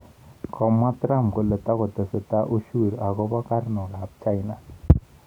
Komwa Trump kole takotesetai ushuru akobo karnok ab China